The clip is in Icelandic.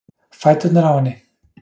Fæturnir á henni.